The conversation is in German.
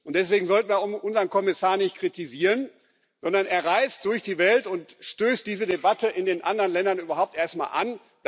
Und deswegen sollten wir unseren Kommissar nicht kritisieren, sondern er reist durch die Welt und stößt diese Debatte in den anderen Ländern überhaupt erstmal an.